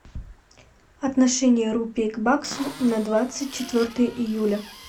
отношение рупии к баксу на двадцать четвертое июля